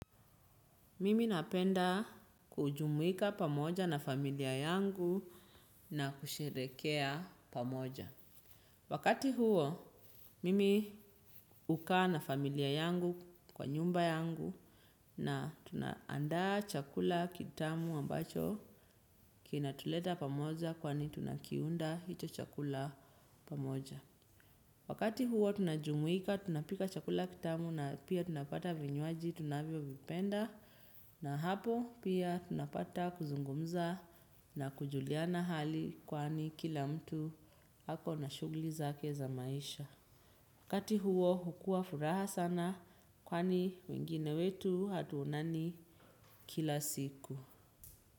Mimi napenda kujumuika pamoja na familia yangu na kusherekea pamoja. Wakati huo, mimi hukaa na familia yangu kwa nyumba yangu na tunaandaa chakula kitamu ambacho kina tuleta pamoja kwani tunakiunda hicho chakula pamoja. Wakati huo tunajumuika tunapika chakula kitamu na pia tunapata vinywaji tunavyo vipenda na hapo pia tunapata kuzungumza na kujuliana hali kwani kila mtu hako na shugli zake za maisha. Wakati huo hukua furaha sana kwani wengine wetu hatuonani kila siku.